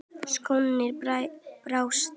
Sóknin brást.